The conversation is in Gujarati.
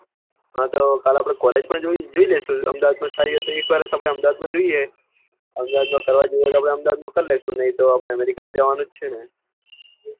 હા તો આપડે કાલે college પણ જોઈ લઈશું સાથી સાથી અહેમદાબાદ પણ જોઈ એ અહેમદાબાદ માં કરવા જેવું હશે તો અહેમદાબાદ માં કરી લઈશું નહિ તો આપડે અમેરિકા જવાનું છે ને